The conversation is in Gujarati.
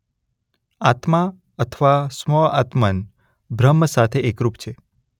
આત્મા અથવા સ્વ આત્મન્ બ્રહ્મ સાથે એકરૂપ છે.